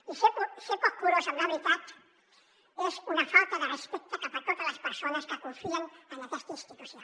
i ser poc curós amb la veritat és una falta de respecte cap a totes les persones que confien en aquesta institució